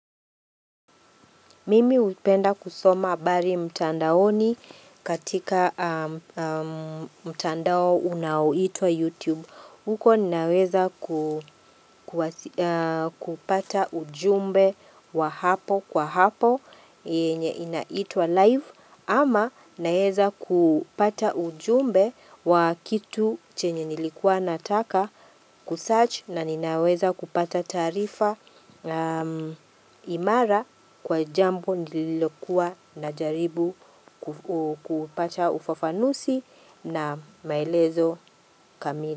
Mimi upenda kusoma habari mtandaoni katika mtandao unao itwa YouTube. Huko ninaweza kupata ujumbe wa hapo kwa hapo inaitwa live. Ama naeza kupata ujumbe wa kitu chenye nilikuwa nataka kusearch na ninaweza kupata tarifa imara kwa jambo nililikuwa na jaribu kupata ufafanuzi na maelezo kamili.